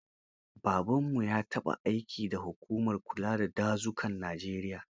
Babanmu ya taɓa aiki da hukumar kula da dazukan Najeriya.